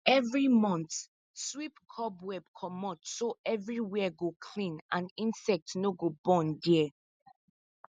every month sweep cobweb comot so everywhere go clean and insect no go born there